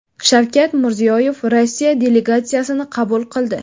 Shavkat Mirziyoyev Rossiya delegatsiyasini qabul qildi.